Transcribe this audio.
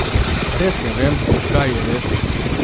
Res ne vem, kaj je res.